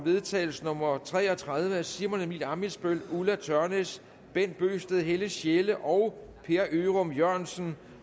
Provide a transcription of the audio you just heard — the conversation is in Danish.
vedtagelse nummer v tre og tredive af simon emil ammitzbøll ulla tørnæs bent bøgsted helle sjelle og per ørum jørgensen